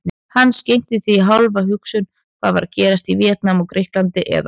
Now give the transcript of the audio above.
Hann skenkti því ekki hálfa hugsun hvað var að gerast í Víetnam eða Grikklandi eða